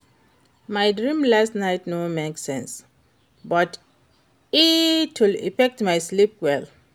My dream last night no make sense, but e still affect my sleep well.